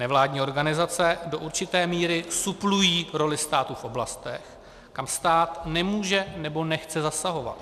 Nevládní organizace do určité míry suplují roli státu v oblastech, kam stát nemůže nebo nechce zasahovat.